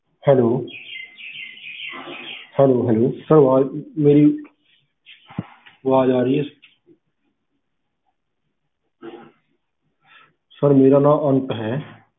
hellohellosir ਅਵਾਜ ਮੇਰੀ ਅਵਾਜ ਆ ਰਹੀ ਏ sir ਮੇਰਾ ਨਾਂ ਅੰਤ ਹੈ